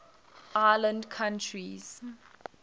island countries